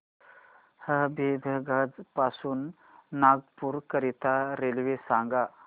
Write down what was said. हबीबगंज पासून नागपूर करीता रेल्वे सांगा